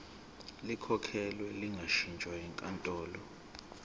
likhokhelwe lingashintshwa yinkantolo